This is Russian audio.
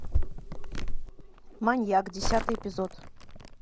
маньяк десятый эпизод